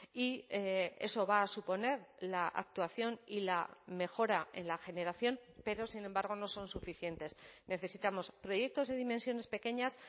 y eso va a suponer la actuación y la mejora en la generación pero sin embargo no son suficientes necesitamos proyectos de dimensiones pequeñas